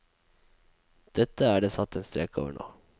Dette er det satt en strek over nå.